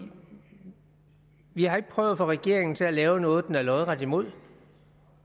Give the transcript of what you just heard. har ikke prøvet at få regeringen til at lave noget den er lodret imod